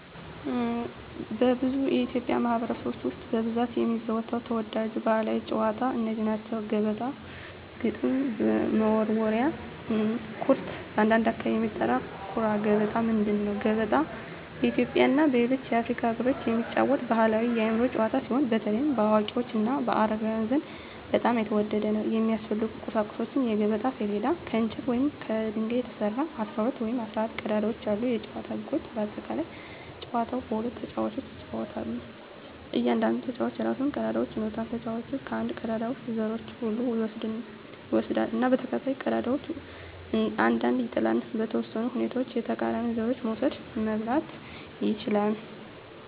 በብዙ የኢትዮጵያ ማኅበረሰቦች ውስጥ በብዛት የሚዘወተሩ ተወዳጅ ባሕላዊ ጨዋታዎች እነዚህ ናቸው፦ ገበጣ ግጥም መወርወሪያ / ኩርት (በአንዳንድ አካባቢ የሚጠራ) ኩራ ገበጣ ምንድን ነው? ገበጣ በኢትዮጵያ እና በሌሎች የአፍሪካ አገሮች የሚጫወት ባሕላዊ የአእምሮ ጨዋታ ሲሆን፣ በተለይ በአዋቂዎች እና በአረጋውያን ዘንድ በጣም የተወደደ ነው። የሚያስፈልጉ ቁሳቁሶች የገበጣ ሰሌዳ: ከእንጨት ወይም ከድንጋይ የተሰራ፣ 12 ወይም 14 ቀዳዳዎች ያሉት የጨዋታው ህጎች (በአጠቃላይ) ጨዋታው በሁለት ተጫዋቾች ይጫወታል። እያንዳንዱ ተጫዋች የራሱን ቀዳዳዎች ይኖራል። ተጫዋቹ ከአንድ ቀዳዳ ውስጥ ዘሮቹን ሁሉ ይወስዳል እና በተከታታይ ቀዳዳዎች ውስጥ አንድ አንድ ይጥላል። . በተወሰኑ ሁኔታዎች የተቃራኒውን ዘሮች መውሰድ (መብላት) ይችላል።